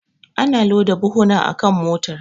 Ana loda buhuna akan motar.